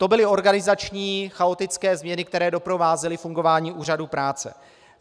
To byly organizační chaotické změny, které doprovázely fungování úřadů práce.